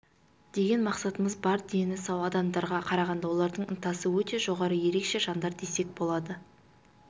деген мақсатымыз бар дені сау адамдарға қарағанда олардың ынтасы өте жоғары ерекше жандар десек болады